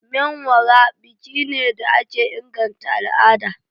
Menwara biki ne da ke inganta al'ada.